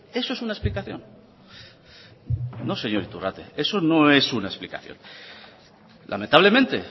eso es una explicación no señor iturrate eso no es una explicación lamentablemente